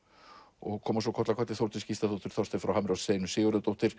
og koma svo koll af kolli Þórdís Gísladóttir og Þorsteinn frá Hamri og Steinunn Sigurðardóttir